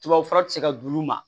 Tubabufura ti se ka d'u ma